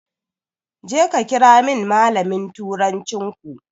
Jeka ka kirawo min malamin turancinku.